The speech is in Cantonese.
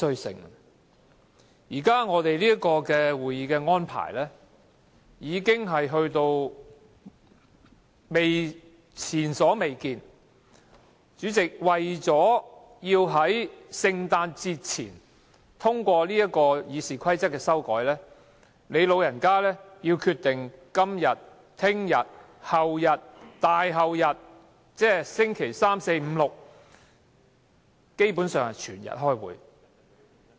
現時我們會議的安排屬前所未見，主席，你為了要在聖誕節前通過這項修改《議事規則》的議案，不惜決定在今天、明天、後天、大後天，即周三、四、五、六基本上是整天開會。